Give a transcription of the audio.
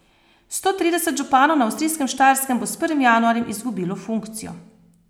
Sto trideset županov na avstrijskem Štajerskem bo s prvim januarjem izgubilo funkcijo.